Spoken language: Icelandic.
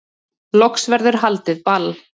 Loks verður haldið ball